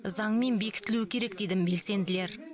заңмен бекітілу керек дейді белсенділер